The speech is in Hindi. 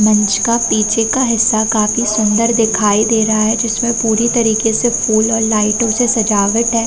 मंच का पीछे का हिस्सा काफी सुन्दर दिखाई दे रहा है जिसमे पुरी तरीके से फूल और लाइटो से सजावट है।